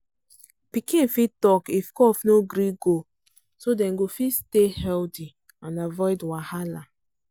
pikin fit talk if cough no gree go so dem fit stay healthy and avoid wahala.